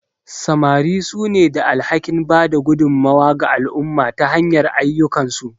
Samari sune da alhakin bada gudummawa ga al'umma ta hanyar ayyukansu.